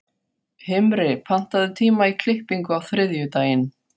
Himri, pantaðu tíma í klippingu á þriðjudaginn.